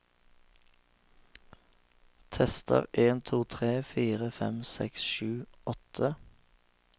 Tester en to tre fire fem seks sju åtte